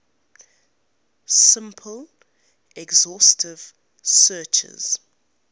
simple exhaustive searches